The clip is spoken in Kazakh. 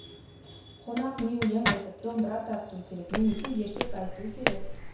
қонақ не өлең айтып домбыра тартуы керек немесе ертек айтуы керек